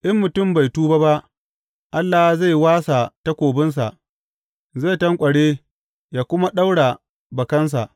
In mutum bai tuba ba, Allah zai wasa takobinsa; zai tanƙware yă kuma ɗaura bakansa.